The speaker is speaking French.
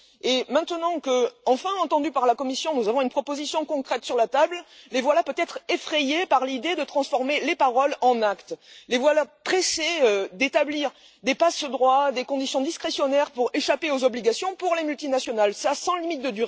Et maintenant que, enfin entendus par la Commission, nous avons une proposition concrète sur la table, les voilà peut être effrayés par l'idée de transformer les paroles en actes, les voilà pressés d'établir des passe droits, des conditions discrétionnaires pour permettre aux multinationales d'échapper à leurs obligations.